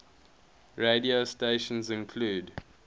radio stations include